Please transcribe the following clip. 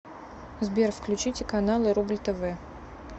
сбер включите каналы рубль тв